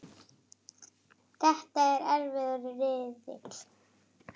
Þetta er erfiður riðill.